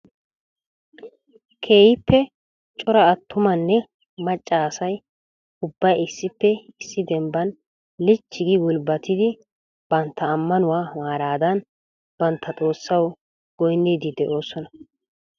Keehippe cora atrumanne macca asay ubbay issippe issi dembban lichchi gi gulbbatidi bantta ammanuwaa maaradan bantta xoossaw goynnidi de'oosona .